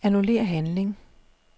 Annullér handling.